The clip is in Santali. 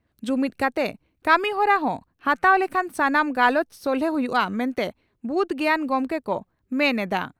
ᱡᱩᱢᱤᱫ ᱠᱟᱛᱮ ᱠᱟᱹᱢᱤᱦᱚᱨᱟ ᱠᱚ ᱦᱟᱛᱟᱣ ᱞᱮᱠᱷᱟᱱ ᱥᱟᱱᱟᱢ ᱪᱟᱞᱮᱸᱡᱽ ᱥᱚᱞᱦᱮ ᱦᱩᱭᱩᱜᱼᱟ ᱢᱮᱱᱛᱮ ᱵᱩᱫᱽ ᱜᱮᱭᱟᱱ ᱜᱚᱢᱠᱮ ᱠᱚ ᱢᱮᱱ ᱮᱫᱼᱟ ᱾